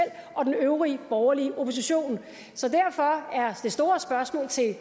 og den øvrige borgerlige opposition så derfor er det store spørgsmål til